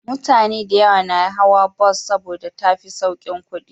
Mutane da yawa na hawa bus saboda tafi saukin kudi